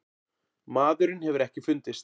Maðurinn hefur ekki fundist.